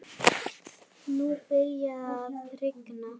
Nú byrjaði að rigna.